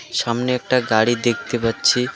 সামনে একটা গাড়ি দেখতে পাচ্ছি।